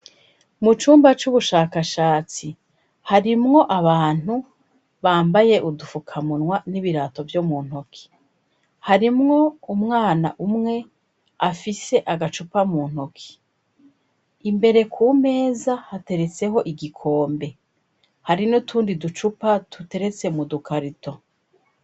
Mu cumba c'ubushakashatsi, harimwo abantu bambaye udufukamunwa n'ibirato byo mu ntoki harimwo umwana umwe afise agacupa mu ntoki, imbere ku meza hateretseko igikombe. Hari nutundi ducupa tuteretse mu dukarato.